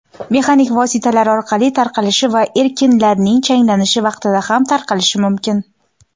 mexanik vositalar orqali tarqalishi va ekinlarning changlanishi vaqtida ham tarqalishi mumkin.